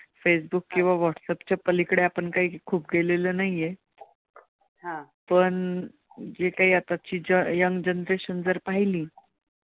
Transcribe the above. Facebook किंवा व्हाट्सएपच्या पलीकडे आपण कांही खूप कांही गेलेलो नाही आह पण जे कांही आताची young generation जर पाहिली